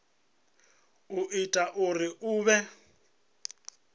o ita uri hu vhe